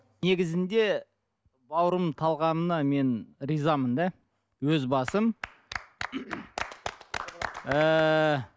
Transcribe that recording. негізінде бауырымның талғамына мен ризамын да өз басым